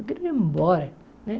Eu queria ir embora né.